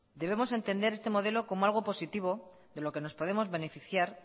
debemos entender este modelo como algo positivo de lo que nos podemos beneficiar